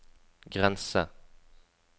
grense